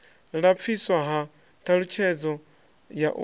lapfiswa ha ṱhalutshedzo ya u